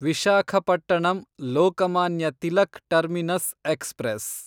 Visakhapatnam Lokmanya Tilak terminus express